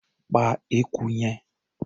Pa eku yẹn!.